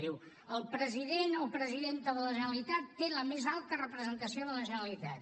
diu el president o presidenta de la generalitat té la més alta representació de la generalitat